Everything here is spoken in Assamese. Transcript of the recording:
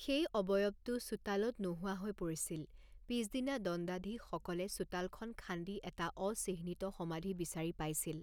সেই অৱয়বটো চোতালত নোহোৱা হৈ পৰিছিল; পিছদিনা দণ্ডাধীশসকলে চোতালখন খান্দি এটা অচিহ্নিত সমাধি বিচাৰি পাইছিল।